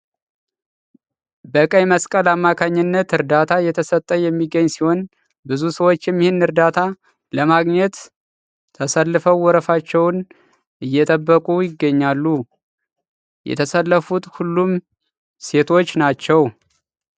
በቀይ መስቀል አማካኝነት እርዳታ እየተሰጠ የሚገኝ ሲሆን ብዙ ሰዎቸም ይህን እርዳታ አለማግኘት ተሰልፈው ወረፋቸውን እየጠበቁ ይገኛሉ። የተሰለፉት ሁሉም ሴቶች ናቸው።